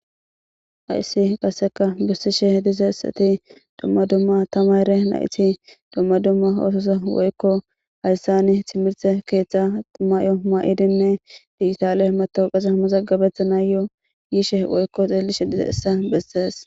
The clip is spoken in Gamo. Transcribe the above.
hayssi qasseka bessishe diza issati dumma dumma tamayre nayti dumma dumma ososa woykko hayssani timirte keeththa mayo ma7i dimme diitaale matoo qasa hammazaggabetha na yoo yiishe woykko xeelishe diza issa bessees